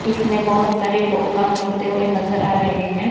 इसमें बहोत सारे लोग काम करते हुए नजर आ रहे हैं।